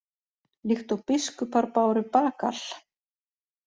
Líkt og biskupar báru bagal?